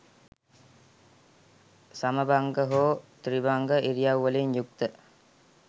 සමභංග හෝ ත්‍රිභංග ඉරියව් වලින් යුක්ත ය.